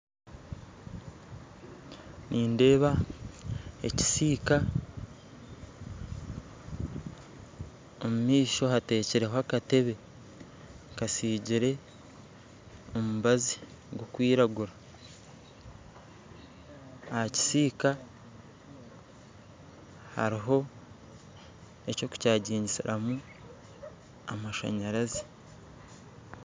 Nindeeba ekisiika omumaisho hateireho akatebe kasigirwe omubazi gurikwiragura aha kisiika hariho eky'okukyajingiramu amashanyarazi